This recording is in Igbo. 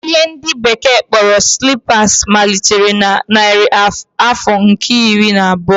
Ihe ndi bekee kporo slippers malitere na narị afọ nke iri na abuo